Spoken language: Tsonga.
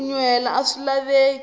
ku nyuhela aswi laveki